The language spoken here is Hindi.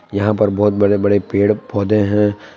यहां पर बहोत बड़े बड़े पेड पौधे हैं।